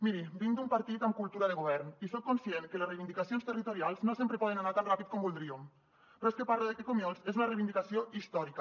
miri vinc d’un partit amb cultura de govern i soc conscient que les reivindicacions territorials no sempre poden anar tan ràpid com voldríem però és que parlo de que comiols és una reivindicació històrica